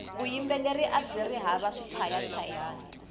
vuyimbeleri abyiri hava swichayachayani